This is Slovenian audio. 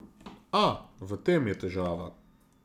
A, v tem je težava.